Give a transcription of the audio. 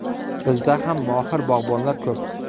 Bizda ham mohir bog‘bonlar ko‘p.